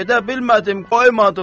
Gedə bilmədim, qoymadılar.